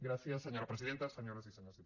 gràcies senyora presidenta senyores i senyors diputats